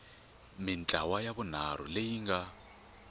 mintlawa ya vunharhu leyi nga